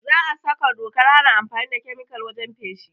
Za a saka dokar hana amfani da kemikal wajen feshi